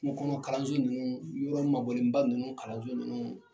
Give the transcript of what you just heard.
Kuŋɔkɔnɔ kalanso ninnuu, yɔrɔ mabɔlenba ninnu kalanso ninnu